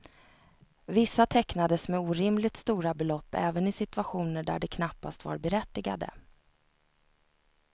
Vissa tecknades med orimligt stora belopp även i situationer där de knappast var berättigade.